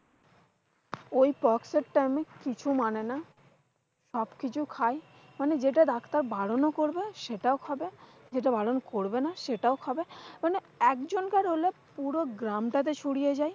ওই fox এর তেমন কিছু মানে না। সবকিছু খায়, মানে যেটা doctor বারন করবে সেটাও খবে, যেটা বারন করবে না সেটাও খবে। মানে একজন কার হলে পুরো গ্রামটাতে ছড়িয়ে যায়।